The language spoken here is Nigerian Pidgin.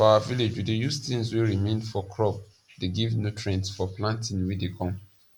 for our village we dey use tings wey remain for crop dey give nutrients for planting wey dey come